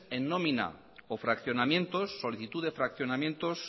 en nómina o fraccionamientos solicitud de fraccionamientos